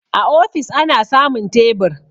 A ofis ana samun tebur